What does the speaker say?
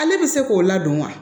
Ale bɛ se k'o ladon wa